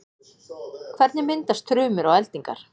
hvernig myndast þrumur og eldingar